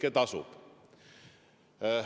See tasub ära.